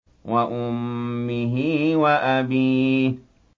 وَأُمِّهِ وَأَبِيهِ